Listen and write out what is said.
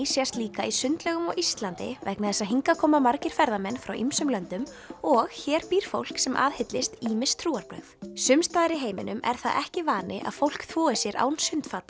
sést líka í sundlaugum á Íslandi vegna þess að hingað koma margir ferðamenn frá ýmsum löndum og hér býr fólk sem aðhyllist ýmis trúarbrögð sums staðar í heiminum er það svo ekki vani að fólk þvoi sér án